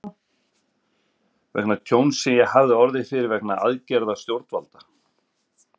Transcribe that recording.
vegna tjóns sem ég hafði orðið fyrir vegna aðgerða stjórnvalda.